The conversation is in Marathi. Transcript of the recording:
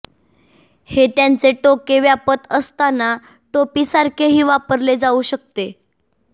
हे त्यांचे टोके व्यापत असताना टोपीसारखेही वापरले जाऊ शकते